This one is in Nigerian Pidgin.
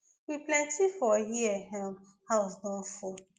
we plenty for here um house don full